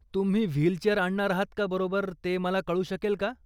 तुम्ही व्हीलचेअर आणणार आहात का बरोबर ते मला कळू शकेल का?